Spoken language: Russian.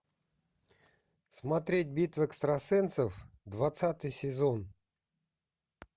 смотреть битва экстрасенсов двадцатый сезон